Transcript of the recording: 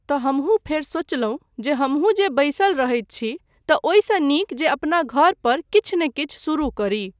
तँ हमहूँ फेर सोचलहुँ जे हमहूँ जे बैसल रहैत छी तँ ओहिसँ नीक जे अपना घर पर किछु नहि किछु शुरू करी।